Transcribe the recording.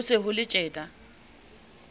ho se ho le tjena